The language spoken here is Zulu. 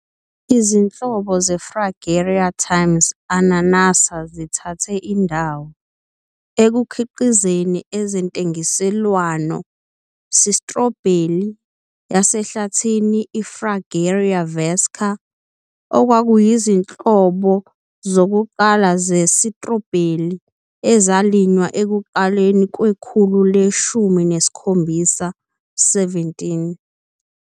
Izinhlobo "zeFragaria" × "ananassa" zithathe indawo, ekukhiqizeni ezentengiselwano, sitrobheli "yasehlathini, iFragaria vesca", okwakuyizinhlobo zokuqala ze-sitrobheli ezalinywa ekuqaleni kwekhulu le-17.